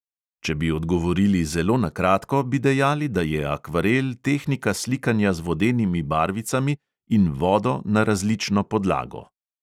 Če bi odgovorili zelo na kratko, bi dejali, da je akvarel tehnika slikanja z vodenimi barvicami in vodo na različno podlago.